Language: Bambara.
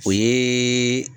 O ye